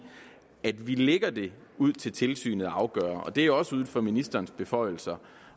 vi lægger det ud til tilsynet at afgøre og det er også uden for ministerens beføjelser